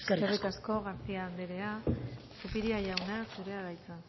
eskerrik asko eskerrik asko garcía anderea zupiria jauna zurea da hitza